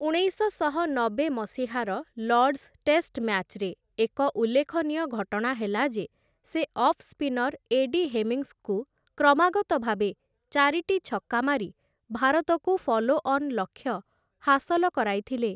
ଉଣେଇଶଶହ ନବେ ମସିହାର ଲର୍ଡ଼ସ ଟେଷ୍ଟ ମ୍ୟାଚ୍‌ରେ ଏକ ଉଲ୍ଲେଖନୀୟ ଘଟଣା ହେଲା ଯେ ସେ ଅଫ୍-ସ୍ପିନର୍ ଏଡି ହେମିଙ୍ଗସ୍‌ଙ୍କୁ କ୍ରମାଗତ ଭାବେ ଚାରିଟି ଛକ୍କା ମାରି ଭାରତକୁ ଫଲୋ-ଅନ୍‌ ଲକ୍ଷ୍ୟ ହାସଲ କରାଇଥିଲେ ।